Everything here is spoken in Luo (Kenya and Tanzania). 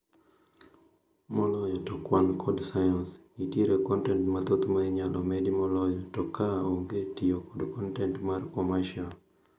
Moloyo to kwan kod science, nitiere kontent mathoth ma inyalo medi moloyo to ka onge tiyo kod kontent mar commercial